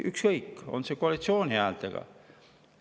Ükskõik, kas koalitsiooni häältega.